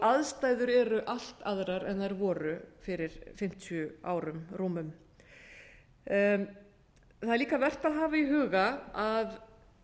aðstæður eru allt aðrar en þær voru fyrir fimmtíu árum rúmum það er líka vert að hafa í huga að